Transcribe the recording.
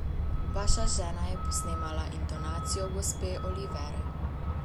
Vaša žena je posnemala intonacijo gospe Olivere.